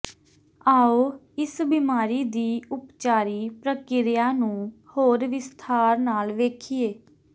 ਆਉ ਇਸ ਬਿਮਾਰੀ ਦੀ ਉਪਚਾਰੀ ਪ੍ਰਕਿਰਿਆ ਨੂੰ ਹੋਰ ਵਿਸਥਾਰ ਨਾਲ ਵੇਖੀਏ